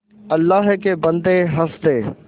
अल्लाह के बन्दे हंस दे